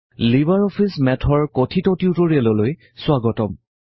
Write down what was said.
Libre office Math কথিত টিউটৰিয়েললৈ স্বাগতম